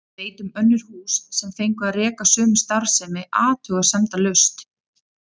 Ég veit um önnur hús sem fengu að reka sömu starfsemi athugasemdalaust.